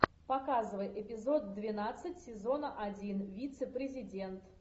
показывай эпизод двенадцать сезона один вице президент